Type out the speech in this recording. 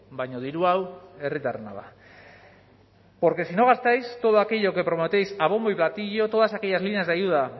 baina diru hau herritarrena da porque si no gastáis todo aquello que prometéis a bombo y platillo todas aquellas líneas de ayuda